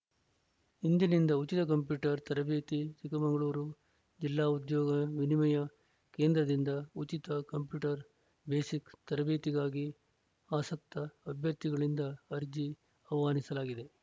ಇಂದಿನಿಂದ ಉಚಿತ ಕಂಪ್ಯೂಟರ್‌ ತರಬೇತಿ ಚಿಕ್ಕಮಗಳೂರು ಜಿಲ್ಲಾ ಉದ್ಯೋಗ ವಿನಿಮಯ ಕೇಂದ್ರದಿಂದ ಉಚಿತ ಕಂಪ್ಯೂಟರ್‌ ಬೇಸಿಕ್‌ ತರಬೇತಿಗಾಗಿ ಆಸಕ್ತ ಅಭ್ಯರ್ಥಿಗಳಿಂದ ಅರ್ಜಿ ಆಹ್ವಾನಿಸಲಾಗಿದೆ